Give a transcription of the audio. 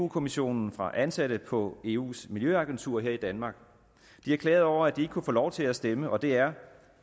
kommissionen fra ansatte på eus miljøagentur her i danmark de har klaget over at de ikke kunne få lov til at stemme og det er